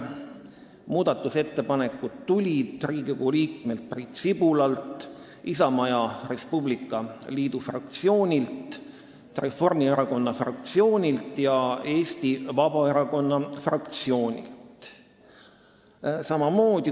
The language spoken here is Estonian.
Muudatusettepanekud tulid Riigikogu liikmelt Priit Sibulalt, Isamaa ja Res Publica Liidu fraktsioonilt, Reformierakonna fraktsioonilt ja Eesti Vabaerakonna fraktsioonilt.